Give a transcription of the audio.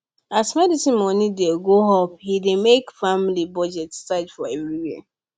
as medicine money dey go up e dey make family budget tight for everywhere